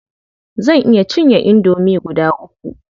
Zan iya cinye indomi guda uku.